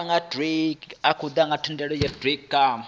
mbekanyamushumo dza u thivhela na